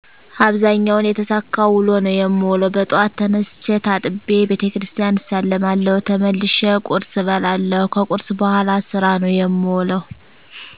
አብዛኛውን የተሳካ ውሎ ነው የምውለው። በጠዋት ተነስቸ ታጥቤ ቤተክርስቲያን እሳለማለሁ ተመልሸ ቆርስ እበላለሁ ከቁርስ በኋላ ስራ ነው የምውለሁ